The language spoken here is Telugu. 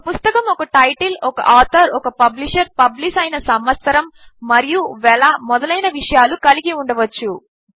ఒక పుస్తకము ఒక టైటిల్ ఒక ఆథర్ ఒక పబ్లిషర్ పబ్లిష్ అయిన సంవత్సరము మరియు వెల మొదలైన విషయాలు కలిగి ఉండవచ్చు